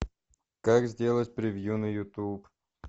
как сделать превью на ютуб